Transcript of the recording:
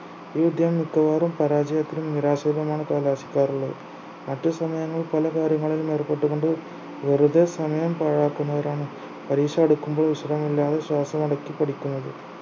ഈ വിദ്യാ മിക്കവാറും പരാജയത്തിലും നിരാശയിലുമാണ് കലാശിക്കാറുള്ളത് മറ്റു സമയങ്ങൾ പല കാര്യങ്ങളിലും ഏർപ്പെട്ടു കൊണ്ട് വെറുതെ സമയം പാഴാക്കുന്നവരാണ് പരീക്ഷ അടുക്കുമ്പോൾ വിശ്രമമില്ലാതെ ശ്വാസമടക്കി പഠിക്കുന്നത്